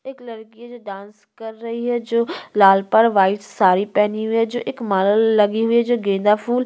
एक लड़की है जो डांस कर रही है जो लाल पर वाइट साड़ी पहने हुए हैं जो एक माला लगे हुए हैं जो गेंदा फूल --